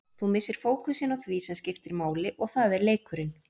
Þú missir fókusinn á því sem skiptir máli og það er leikurinn.